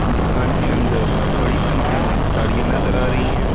दुकान के अंदर बड़ी संख्या में साड़ियां नजर आ रही है।